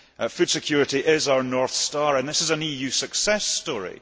Food security is our North Star and this is an EU success story.